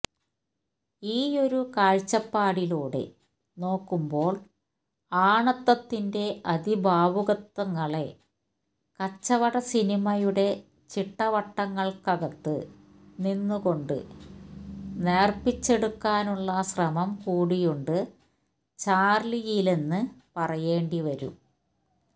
ഈയൊരു കാഴ്ചപ്പാടിലൂടെ നോക്കുമ്പോള് ആണത്വത്തിന്റെ അതിഭാവുകത്വങ്ങളെ കച്ചവടസിനിമയുടെ ചിട്ടവട്ടങ്ങള്ക്കകത്ത് നിന്നുകൊണ്ട് നേര്പ്പിച്ചെടുക്കാനുള്ള ശ്രമം കൂടിയുണ്ട് ചാർലിയിലെന്ന് പറയേണ്ടി വരും